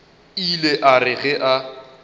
ile a re ge a